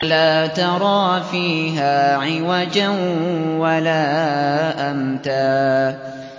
لَّا تَرَىٰ فِيهَا عِوَجًا وَلَا أَمْتًا